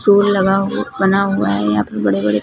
लगा हुआ बना हुआ है यहां पे बड़े बड़े--